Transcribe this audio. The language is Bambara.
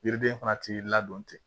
Yiriden fana t'i ladon ten